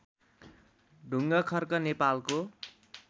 ढुङ्खर्क नेपालको